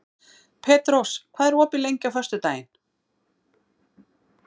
Petrós, hvað er opið lengi á föstudaginn?